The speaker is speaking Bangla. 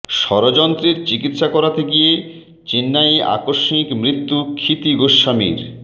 স্বরযন্ত্রের চিকিৎসা করাতে গিয়ে চেন্নাইয়ে আকস্মিক মৃত্যু ক্ষিতি গোস্বামীর